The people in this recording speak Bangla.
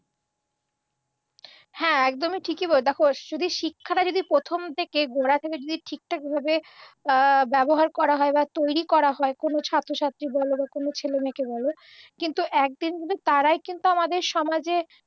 হ্যাঁ, একদমই ঠিকই বলেছ। দেখো, শুধু শিক্ষাটা যদি প্রথম থেকে গোঁড়া থেকে যদি ঠিকঠাক ভাবে আ ব্যবহার করা হয় বা তৈরি করা হয় কোনও ছাত্রছাত্রী বল বা কোনও ছেলেমেয়েকে বল কিন্তু একদিন তারাই কিন্তু আমাদের সমাজের